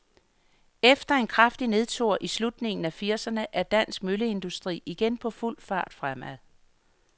Efter en kraftig nedtur i slutningen af firserne er dansk mølleindustri igen på fuld fart fremad.